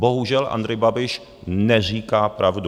Bohužel, Andrej Babiš neříká pravdu.